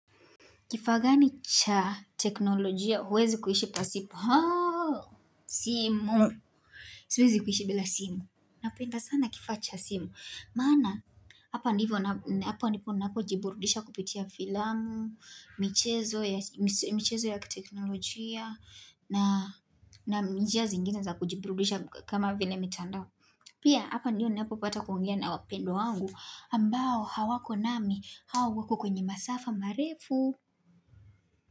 Kifaa gani cha teknolojia, huwezi kuishi pasipo? Simu. Huwezi kuhishi bila simu. Napenda sana kifaa cha simu. Maana, hapa ndipo ninapo jiburudisha kupitia filamu, michezo ya mivhezo ya kiteknolojia, na njia zingine za kujiburudisha kama vile mitandao. Pia, hapa ndio ninapopata kuongea na wapendwa wangu, ambao hawako nami, au wako kwenye masafa, marefu,